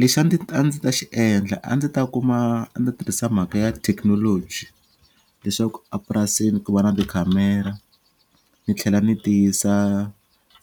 Lexi a a ndzi ta xi endla a ndzi ta kuma ni tirhisa mhaka ya technology leswaku a purasini ku va na tikhamera ni tlhela ni tiyisa